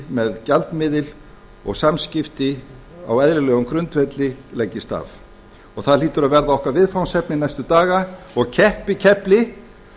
með gjaldmiðil og samskipti á eðlilegum grundvelli leggist af og það hlýtur að verða okkar viðfangsefni næstu daga og keppikefli